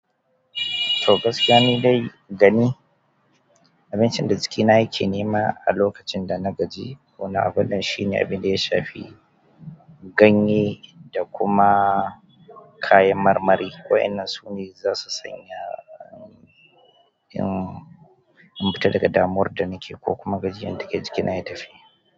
Togaskiya ni dai gani, abincin da jikina yake nema a lokacin da na gaji ko na abun nan shine abin da ya shafi ganye da kuma kayan marmari waɗannan su ne zasu sanya in fita daga damuwan da nake ko kuma gajiyan dake jikina ya tafi.